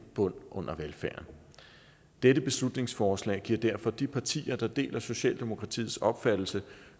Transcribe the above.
bund under velfærden dette beslutningsforslag giver derfor de partier der deler socialdemokratiets opfattelse